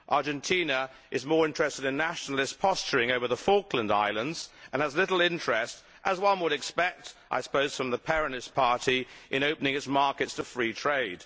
Argentina is more interested in nationalist posturing over the Falkland Islands and has little interest as one would expect I suppose from the Peronist Party in opening its markets to free trade.